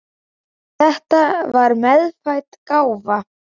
Þetta var meðfædd gáfa.